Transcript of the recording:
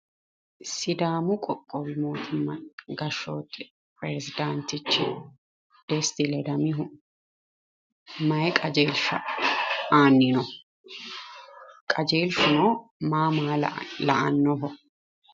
Sidaamu qoqqowi mootimma gashshaanchi pirezidaantichi Desti ledamohu mayi qajeelshshsa aanni no? qajeelshshuno maa la'annoho?